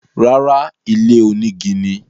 Rárá, ilé onígi ni.